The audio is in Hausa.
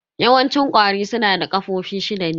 Yawanci ƙwari su na da ƙafofi shida ne.